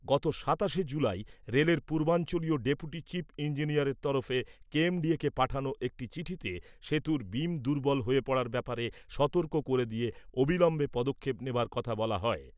গত সাতাশে জুলাই রেলের পূর্বাঞ্চলীয় ডেপুটি চিফ ইঞ্জিনিয়ারের তরফে কেএমডিএ কে পাঠানো একটি চিঠিতে সেতুর বিম দুর্বল হয়ে পড়ার ব্যাপারে সতর্ক করে দিয়ে অবিলম্বে পদক্ষেপ নেবার কথা বলা হয়।